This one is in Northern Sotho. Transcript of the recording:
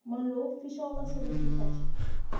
mollo o fišago goba seruthufatši